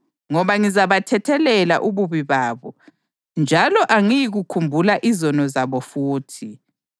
Ngoba ngizabathethelela ububi babo, njalo angiyikukhumbula izono zabo futhi.” + 8.12 UJeremiya 31.31-34